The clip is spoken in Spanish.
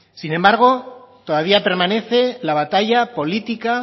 sin embargo todavía permanece la batalla política